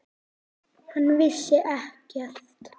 Hann vissi ekkert.